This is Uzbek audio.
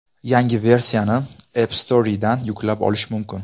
Yangi versiyani App Store ’dan yuklab olish mumkin.